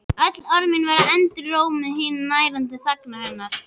Öll orð mín verða endurómur hinnar nærandi þagnar hennar.